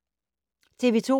TV 2